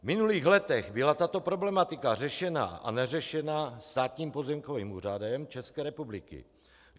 V minulých letech byla tato problematika řešena a neřešena Státním pozemkovým úřadem České republiky.